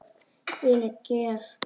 Þvílík gjöf.